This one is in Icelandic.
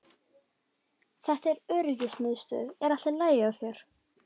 Rödd: Þetta er öryggismiðstöðin er allt í lagi hjá þér?